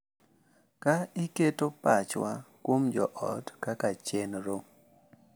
Ka iketo pachwa kuom joot kaka chenro,